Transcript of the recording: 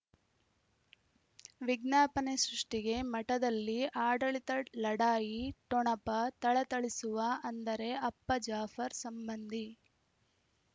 ವಿಜ್ಞಾಪನೆ ಸೃಷ್ಟಿಗೆ ಮಠದಲ್ಲಿ ಆಡಳಿತ ಲಢಾಯಿ ಠೊಣಪ ಥಳಥಳಿಸುವ ಅಂದರೆ ಅಪ್ಪ ಜಾಫರ್ ಸಂಬಂಧಿ